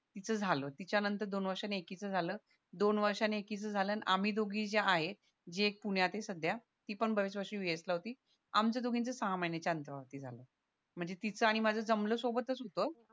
तिचं झालं तिच्या नंतर दोन वर्ष नंतर एकिच झालं दोन वर्षनं एकिच झालं अन आम्ही दोघीं ज्या आहेत जी एक पुण्यात आहे सध्या ती पण बरेच वर्ष होती आमच्या दोघींचं सहा महिन्याच्या अंतरावरती झालं म्हणजे तिचं आणि माझं जमलं सोबतच होत